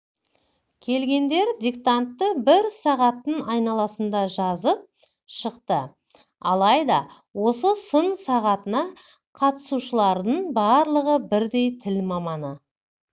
келгендер диктантты бір сағаттың айналасында жазып шықты алайда осы сын сағатына қатысушылардың барлығы бірдей тіл маманы